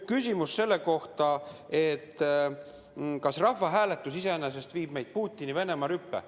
Küsimus selle kohta, kas rahvahääletus iseenesest viib meid Putini-Venemaa rüppe.